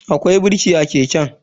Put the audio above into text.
Akwai birki a keken.